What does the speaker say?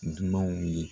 Dunanw ye